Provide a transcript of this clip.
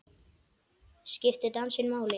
Skiptir dansinn máli?